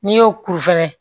N'i y'o kuru fɛnɛ